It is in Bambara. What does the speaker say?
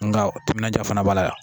Nka timinanja fana b'a la